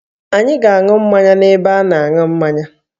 Anyị ga-aṅụ mmanya n'ebe a na-aṅụ mmanya